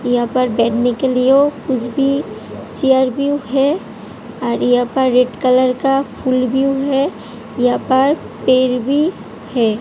यहा पर बेठेने के लिए कुछ व्यू है चेर व्यू है और यहाँ पर रेड कलर का फुल व्यू है यहा पर पेड़ भी है।